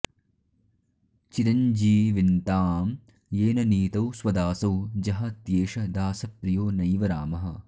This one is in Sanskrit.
चिरञ्जीविन्तां येन नीतौ स्वदासौ जहात्येष दासप्रियो नैव रामः